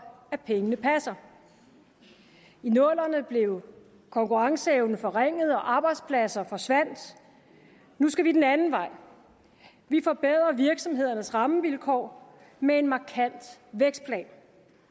at pengene passer i nullerne blev konkurrenceevnen forringet og arbejdspladser forsvandt nu skal vi den anden vej vi forbedrer virksomhedernes rammevilkår med en markant vækstplan